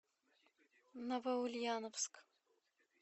новоульяновск